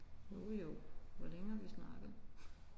Jo jo. Hvor længe har vi snakket?